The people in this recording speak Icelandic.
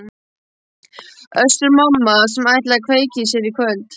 Össur-Mamma sem ætlaði að kveikja í sér í kvöld?